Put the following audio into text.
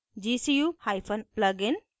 gcuplugin